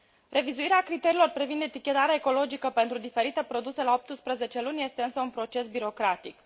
Revizuirea criteriilor privind etichetarea ecologică pentru diferite produse la 18 luni este însă un proces birocratic.